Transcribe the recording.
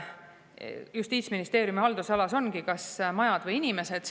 Justiitsministeeriumi haldusalas ongi valik, kas majad või inimesed.